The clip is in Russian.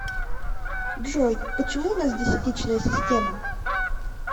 джой почему у нас десятичная система